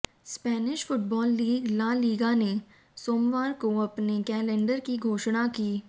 Spanish football league La Liga ने सोमवार को अपने कैलेंडर की घोषणा की